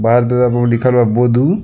बाहर --